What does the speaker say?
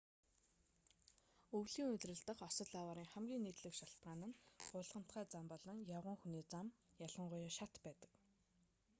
өвлийн улирал дахь осол аваарын хамгийн нийтлэг шалтгаан нь гулгамтгай зам болон явган хүний зам хажуугийн зам ялангуяа шат байдаг